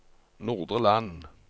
Nordre Land